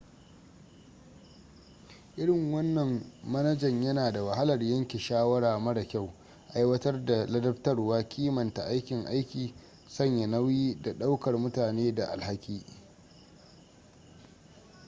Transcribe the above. irin wannan manajan yana da wahalar yanke shawara mara kyau aiwatar da ladabtarwa kimanta aikin aiki sanya nauyi da ɗaukar mutane da alhaki